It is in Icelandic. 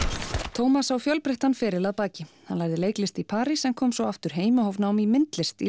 Tómas á fjölbreyttan feril að baki hann lærði leiklist í París en kom svo aftur heim og hóf nám í myndlist í